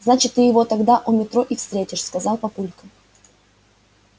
значит ты его тогда у метро и встретишь сказал папулька